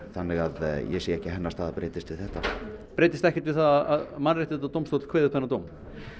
þannig að ég sé ekki að hennar staða breytist við þetta breytist ekkert við að Mannréttindadómstóll kveði upp þennan dóm